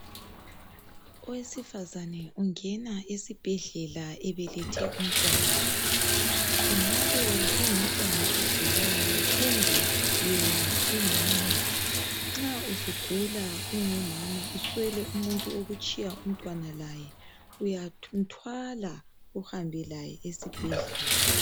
Owesifazana ungena esibhedlela ebelethe umntwana kungabe kungumntwana ogulayo kumbe yena umama nxa usugula ungumama uswele umuntu wokutshiya umntwana laye uyathumthwala uhambe laye esibhedlela.